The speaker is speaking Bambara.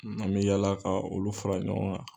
An bɛ yala ka olu fara ɲɔgɔn kan.